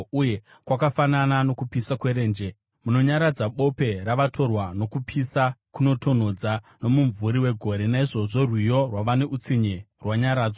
uye kwakafanana nokupisa kwerenje. Munonyaradza bope ravatorwa; sokupisa kunotonhodzwa nomumvuri wegore, naizvozvo rwiyo rwavane utsinye rwanyaradzwa.